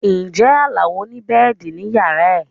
Ǹjẹ́ Alao ni bẹ́ẹ̀dì ní yàrá rẹ̀?